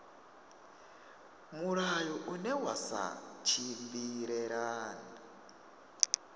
mulayo une wa sa tshimbilelane